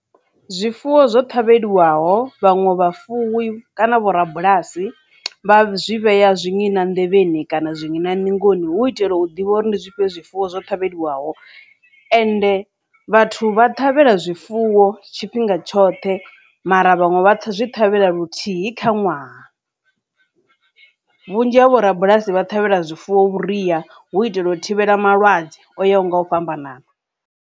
Zwifuwo zwo ṱhavheliwaho vhaṅwe vha fuwi kana vho rabulasi vha zwi vhea zwiṅina nḓevheni kana zwiṅina ningoni hu u itela u ḓivha uri ndi zwifhio zwifuwo zwo ṱhavheliwaho ende vhathu vha ṱhavhela zwifuwo tshifhinga tshoṱhe mara vhaṅwe vha zwi ṱhavhela luthihi kha ṅwaha. Vhunzhi havho rabulasi vha ṱhavhela zwifuwo vhuria hu u itela u thivhela malwadze o yaho nga u fhambanana.